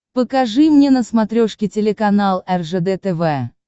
покажи мне на смотрешке телеканал ржд тв